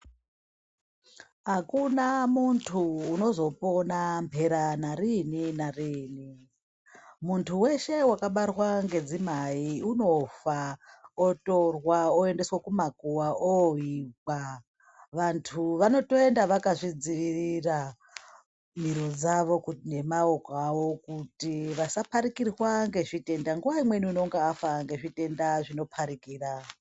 Akuna munhu unozopona mphera narini -narini, munthu weshe wakabarwa ngedzimai unofa otorwa oendeswa kumakuwa kooigwa vantu vanotoenda vaka zvidzivirira miro dzavo nemaoko avo kuti vasa pharikirwa ngezvitenda nguwa imweni unenge afa ngezvitenda zvino pharikira.